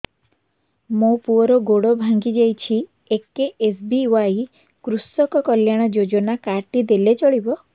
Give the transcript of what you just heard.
ମୋ ପୁଅର ଗୋଡ଼ ଭାଙ୍ଗି ଯାଇଛି ଏ କେ.ଏସ୍.ବି.ୱାଇ କୃଷକ କଲ୍ୟାଣ ଯୋଜନା କାର୍ଡ ଟି ଦେଲେ ଚଳିବ